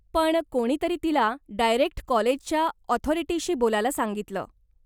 पण, कोणीतरी तिला डायरेक्ट कॉलेजच्या ऑथॉरिटीशी बोलायला सांगितलं.